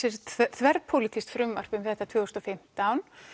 þverpólitískt frumvarp um þetta tvö þúsund og fimmtán